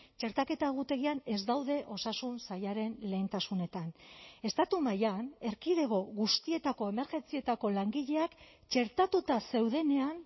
txertaketa egutegian ez daude osasun sailaren lehentasunetan estatu mailan erkidego guztietako emergentzietako langileak txertatuta zeudenean